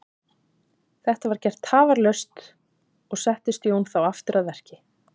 Þetta var gert tafarlaust og settist Jón þá aftur að verki.